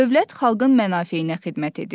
Dövlət xalqın mənafeyinə xidmət edir.